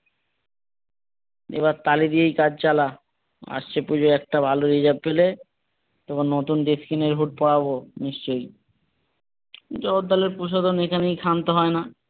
এবার তালি দিয়েই কাজ চালা আসছে পুজোয় একটা ভালো reserve পেলে তোকে নতুন dress কিনে হুড পরাবো নিশ্চয় জগদ্দলের প্রসাধন এখানেই ক্ষান্ত হয়না।